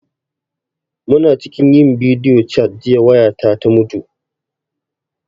Muna cikin yin bidiyo cat jiya waya ta ta mutu